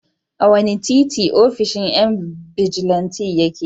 A wane titi ofishin yan bijilanti yake?